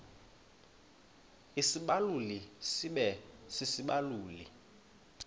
isibaluli sibe sisibaluli